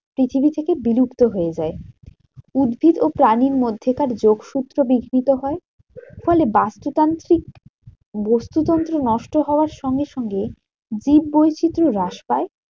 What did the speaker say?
পৃথিবী থেকে বিলুপ্ত হয়ে যায়। উদ্ভিদ ও প্রাণীর মধ্যেকার যোগসূত্র বিঘ্নিত হয়। ফলে বস্তুতান্ত্রিক বাস্তুতন্ত্র নষ্ট হওয়ার সঙ্গে সঙ্গে জীব বৈচিত্র হ্রাস পায়